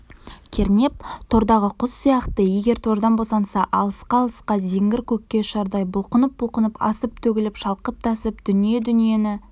кернеп тордағы құс сияқты егер тордан босанса алысқа-алысқа зеңгір көкке ұшардай бұлқынып-бұлқынып асып-төгіліп шалқып-тасып дүние-дүниені